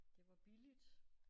Det var billigt